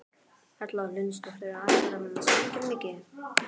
Erla Hlynsdóttir: Ætlarðu að sprengja mikið?